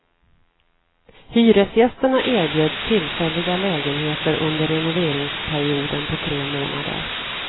Hyresgästerna erbjöds tillfälliga lägenheter under renoveringsperioden på tre månader.